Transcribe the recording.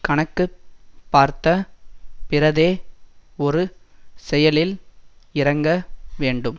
கணக்கு பார்த்த பிறதே ஒரு செயலில் இறங்க வேண்டும்